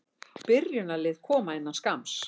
Byrjunarlið koma innan skamms.